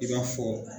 I b'a fɔ